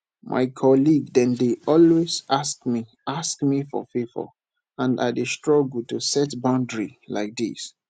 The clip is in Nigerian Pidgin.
my colleague dem dey always ask me ask me for favor and i dey struggle to set boundary like dis